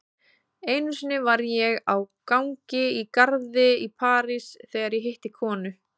Einu sinni var ég á gangi í garði í París þegar ég hitti konu.